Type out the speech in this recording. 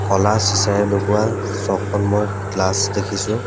ক'লা চিঁচাৰে লগোৱা ছয়খনমান গ্লাচ দেখিছোঁ।